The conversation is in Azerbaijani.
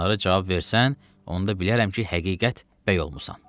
Onlara cavab versən, onda bilərəm ki, həqiqət bəy olmusan.